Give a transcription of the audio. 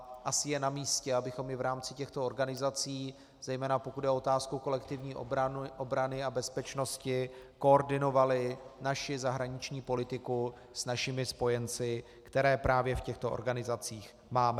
A asi je na místě, abychom i v rámci těchto organizací, zejména pokud jde o otázku kolektivní obrany a bezpečnosti, koordinovali naši zahraniční politiku s našimi spojenci, které právě v těchto organizacích máme.